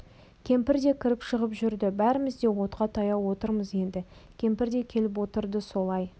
кемпір де кіріп-шығып жүрді бәріміз де отқа таяу отырмыз енді кемпір де келіп отырды сол ай